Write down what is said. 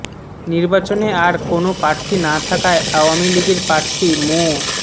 নির্বাচনে আর কোনো প্রার্থী না থাকায় আওয়ামী লীগের প্রার্থী মো